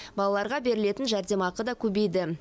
балаларға берілетін жәрдемақы да көбейді